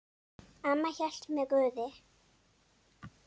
Amma hélt með Guði.